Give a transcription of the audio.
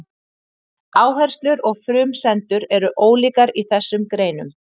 Áherslur og frumsendur eru ólíkar í þessum greinum.